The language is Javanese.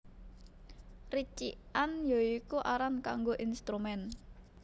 Ricikan ya iku aran kanggo instrumen